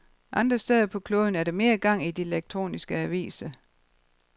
Andre steder på kloden er der mere gang i de elektroniske aviser.